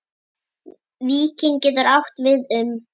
Víkin getur átt við um